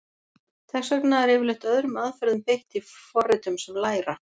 Þess vegna er yfirleitt öðrum aðferðum beitt í forritum sem læra.